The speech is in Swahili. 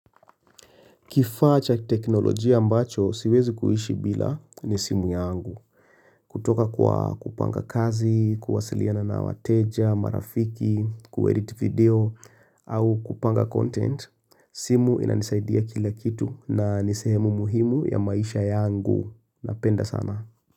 Kifaa cha teknolojia ambacho, siwezi kuhishi bila ni simu yangu. Kutoka kwa kupanga kazi, kuwasiliana na wateja, marafiki, kuedit video, au kupanga content, simu inanisaidia kila kitu na nisehemu muhimu ya maisha yangu. Napenda sana.